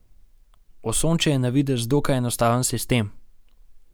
Osončje je navidez dokaj enostaven sistem.